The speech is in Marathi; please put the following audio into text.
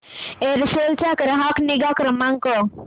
एअरसेल चा ग्राहक निगा क्रमांक